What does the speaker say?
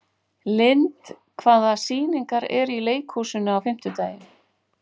Lynd, hvaða sýningar eru í leikhúsinu á fimmtudaginn?